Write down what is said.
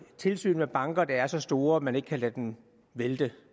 tilsyn med banker der er så store at man ikke kan lade dem vælte